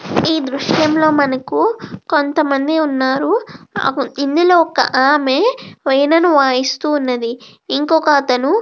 ఈ దృశ్యంలో మనకు కొంతమంది ఉన్నారు ఇందులో ఒక ఆమె వీణను వాయిస్తూ ఉన్నది. ఇంకొక అతను --